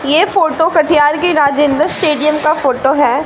यह फोटो कटिहार के राजेंद्र स्टेडियम का फोटो है।